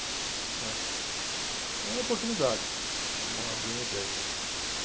Né. Então era uma oportunidade de abrir uma empresa.